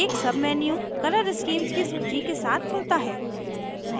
एक menu color schemes की सूची के साथ खुलता है